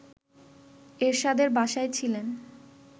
এরশাদের বাসায় ছিলেন